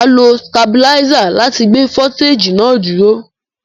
Mà á lo tabiláísà láti gbé foliteji náà dúró.